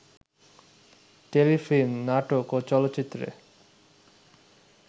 Telefilm, নাটক ও চলচ্চিত্রে